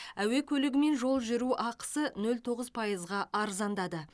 әуе көлігімен жол жүру ақысы нөл тоғыз пайызға арзандады